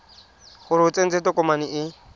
gore o tsentse tokomane e